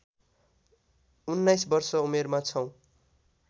१९ वर्ष उमेरमा छौँ